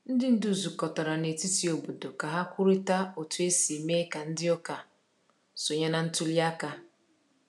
Ndị ndu zukọtara na etiti obodo ka ha kwurịta otu esi mee ka ndị ụka sonye na ntuli aka.